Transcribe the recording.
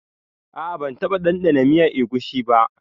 A'a ban taba dandana miyar egusi ba.